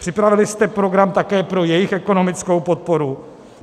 Připravili jste program také pro jejich ekonomickou podporu?